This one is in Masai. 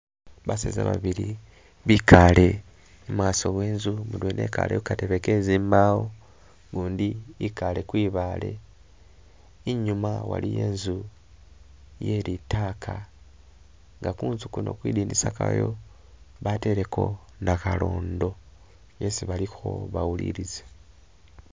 Baseza babili bikale i'maaso we'nzu, mudwena wikale Ku katebe ke zibawo, gundi i'kale kwi'baale, i'nyuma waliyo e'nzu ye'litaka, nga ku'nzu kuno kwi'dinisa kayo bateleko nakhalondo yesi balikho bawulilisa